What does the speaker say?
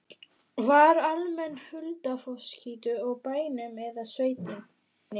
Var almenn huldufólkstrú á bænum eða í sveitinni?